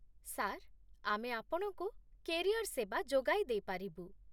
Sir, ଆମେ ଆପଣଙ୍କୁ career ସେବା ଯୋଗାଇ ଦେଇପାରିବୁ।